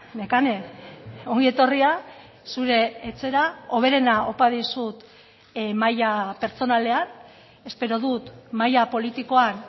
nekane ongi etorria zure etxera hoberena opa dizut maila pertsonalean espero dut maila politikoan